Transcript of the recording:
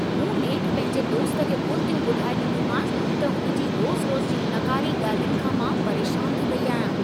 मूं नेठि पंहिंजे दोस्त खे ॿोलितियूं ॿुधाए ॾिनियूंमांसि त हुन जी रोज़-रोज़ जी नाकारी ॻाल्हियुनि खां मां परेशान थी वेई आहियां।